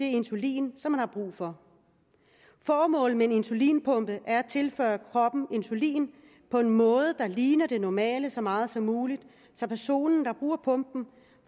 insulinen som man har brug for formålet med en insulinpumpe er at tilføre kroppen insulin på en måde der ligner den normale måde så meget som muligt så personen der bruger pumpen